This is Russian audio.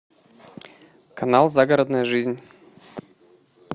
канал загородная жизнь